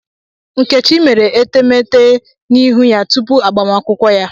Nkechi mere etemete n'ihu ya tupu agbamakwụkwọ ya.